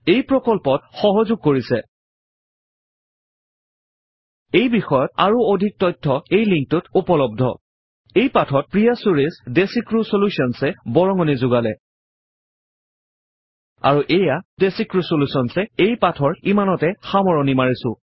এই প্ৰকল্পত সহযোগ কৰিছে httpspoken tutorialorg এই বিষয়ত আৰু অধিক তথ্য এই লিংকত উপলব্ধ httpspoken tutorialorgNMEICT Intro এই পাঠত প্ৰিয়া চুৰেশ ডেচিক্ৰিউ Solutions এ বৰঙনি যোগালে আৰু এইয়া ডেচিক্ৰিউ solutions এ এই পাঠৰ ইমানতে সামৰণি মাৰিছো